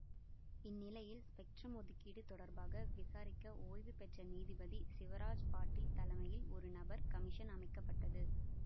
இந் நிலையில் ஸ்பெக்ட்ரம் ஒதுக்கீடு தொடர்பாக விசாரிக்க ஓய்வு பெற்ற நீதிபதி சிவராஜ் பாட்டீல் தலைமையில் ஒரு நபர் கமிஷன் அமைக்க பட்டது